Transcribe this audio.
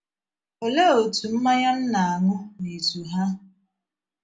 Olee otú mmanya m na - aṅụ n’izu hà?